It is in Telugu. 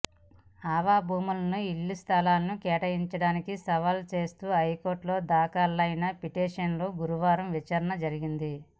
ఆవ భూములను ఇళ్ల స్థలాలకు కేటాయించడాన్ని సవాల్ చేస్తూ హైకోర్టులో దాఖలైన పిటిషన్పై గురువారం విచారణ జరిగింది